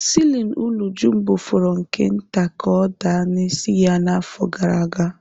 Siilin ụlọ Jumbo fọrọ nke nta ka ọ daa n'isi ya n'afọ gara aga.